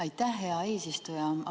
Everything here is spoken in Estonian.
Aitäh, hea eesistuja!